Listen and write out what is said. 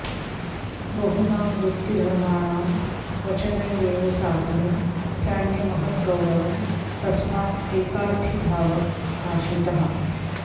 बहुनां वृत्तिधर्माणां वचनैरेव साधने स्यान्यमहद् गौरवं तस्मात् एकार्थीभाव आश्रितः